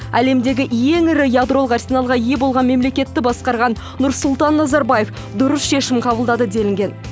әлемдегі ең ірі ядролық арсеналға ие болған мемлекетті басқарған нұрсұлтан назарбаев дұрыс шешім қабылдады делінген